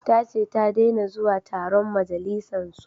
Ta ce ta dena zuwa taron majalisan su